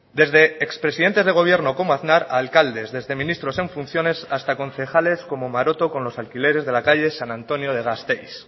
desde expresidentes de gobierno como aznar a alcaldes desde ministros en funciones hasta concejales como maroto con los alquileres de la calle san antonio de gasteiz